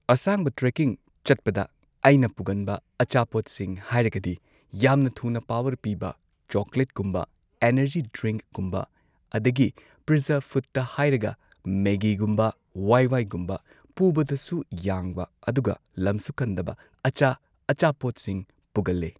ꯑꯁꯥꯡꯕ ꯇ꯭ꯔꯦꯀꯤꯡ ꯆꯠꯄꯗ ꯑꯩꯅ ꯄꯨꯒꯟꯕ ꯑꯆꯥꯄꯣꯠꯁꯤꯡ ꯍꯥꯏꯔꯒꯗꯤ ꯌꯥꯝꯅ ꯊꯨꯅ ꯄꯥꯋꯔ ꯄꯤꯕ ꯆꯣꯀ꯭ꯂꯦꯠꯀꯨꯝꯕ ꯑꯦꯅꯔꯖꯤ ꯗ꯭ꯔꯤꯡꯛꯀꯨꯝꯕ ꯑꯗꯒꯤ ꯄ꯭ꯔꯤꯖꯔꯚ ꯐꯨꯗꯇ ꯍꯥꯏꯔꯒ ꯃꯦꯒꯤꯒꯨꯝꯕ ꯋꯥꯏ ꯋꯥꯏꯒꯨꯝꯕ ꯄꯨꯕꯗꯁꯨ ꯌꯥꯡꯕ ꯑꯗꯨꯒ ꯂꯝꯁꯨ ꯀꯟꯗꯕ ꯑꯆꯥ ꯑꯆꯥꯄꯣꯠꯁꯤꯡ ꯄꯨꯒꯜꯂꯦ